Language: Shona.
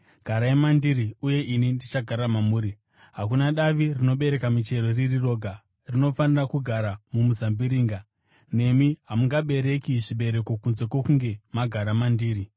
Garai mandiri, uye ini ndichagara mamuri. Hakuna davi rinobereka michero riri roga; rinofanira kugara mumuzambiringa. Nemi hamungabereki zvibereko kunze kwokunge magara mandiri.